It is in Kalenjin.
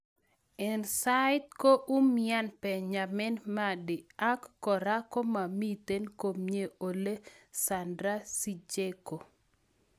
en saiti ko umiani Benjamin Mendy ag kora komamiten komyee Oleksandr Zinchenko